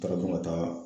Ka don ka taa